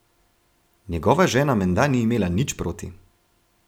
Njegova žena menda ni imela nič proti ...